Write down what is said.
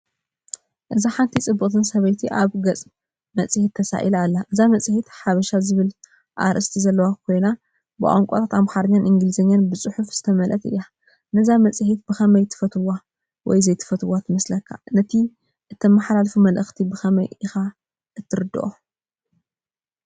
እዚ ሓንቲ ጽብቕቲ ሰበይቲ ኣብ ገጽ መጽሔት ተሳኢላ ኣላ። እታ መጽሔት “ሓበሻ” ዝብል ኣርእስቲ ዘለዋ ኮይና ብቋንቋታት ኣምሓርኛን እንግሊዝኛን ብጽሑፋት ዝተመልአት እያ። ነዛ መጽሔት ብኸመይ ትፈትዋ ወይ ዘይትፈትዋ ትመስለካ? ነቲ እተመሓላልፎ መልእኽቲ ብኸመይ ኢኻ እትርድኦ?